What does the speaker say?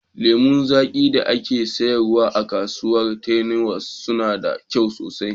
Lemu zaƙi da ake sayarwa a kasuwar Terminus suna da kyau sosai